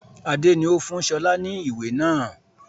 Adé ni ó fún sọlá ni ìwé náà